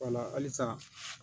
Wala halisa